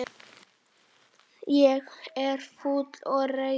Ég er fúll og reiður.